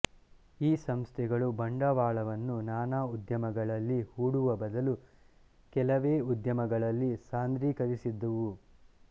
ಈ ಸಂಸ್ಥೆಗಳು ಬಂಡವಾಳವನ್ನು ನಾನಾ ಉದ್ಯಮಗಳಲ್ಲಿ ಹೂಡುವ ಬದಲು ಕೆಲವೇ ಉದ್ಯಮಗಳಲ್ಲಿ ಸಾಂದ್ರೀಕರಿಸಿದ್ದುವು